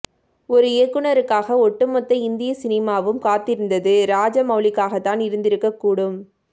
ஒரு இயக்குனருக்காக ஒட்டுமொத்த இந்திய சினிமாவும் காத்திருந்தது ராஜமெளலிக்காகதான் இருந்திருக்கக் கூடும்